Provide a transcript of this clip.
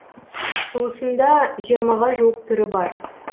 туысында жиырмаға жуық түрі бар